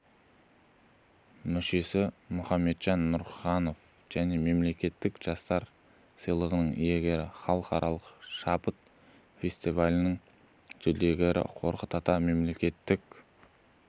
мүшесі мұхамеджан нұрханов және мемлекеттік жастар сыйлығының иегері халықаралық шабыт фестивалінің жүлдегері қорқыт ата мемлекеттік